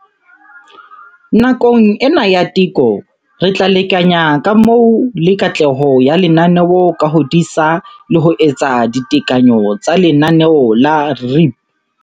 Nakong ena ya teko, re tla lekanya kamo le katleho ya lenaneo ka ho disa le ho etsa ditekanyo tsa lenaneo la REAP.